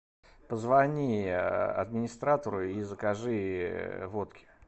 позвони администратору и закажи водки